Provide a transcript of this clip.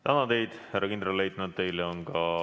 Tänan teid, härra kindralleitnant!